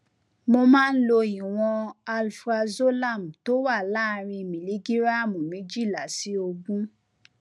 mo máa ń lo ìwọn alprazolam tó wà láàárín miligíráàmù méjìlá sí ogún